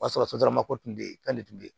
O y'a sɔrɔ sotaramako tun bɛ yen k'ale tun bɛ